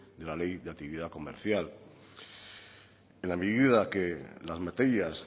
de la ley de actividad comercial en la medida que las materias